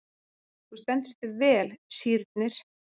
Þú stendur þig vel, Sírnir!